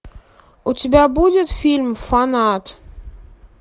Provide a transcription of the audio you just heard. у тебя будет фильм фанат